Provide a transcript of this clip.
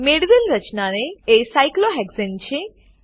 મેળવેલ રચના એ સાયક્લોહેક્સાને સાયક્લોહેક્ઝેન છે